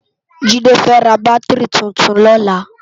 Jide fè rá bátirí tútún lòlá